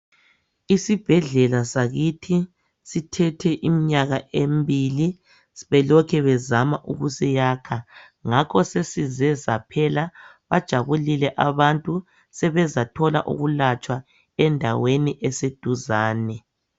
isibhedlela sakithi sithethe iminyaka embili belokhe bezama ukusiyakha ngakho sesizesaphela bajabulile abantu sesize sathola ukulatshwa endaweni eseduzane